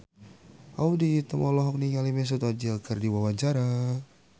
Audy Item olohok ningali Mesut Ozil keur diwawancara